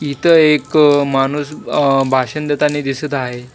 इथं एक माणूस भाषण देताने दिसत आहे.